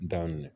Da minɛ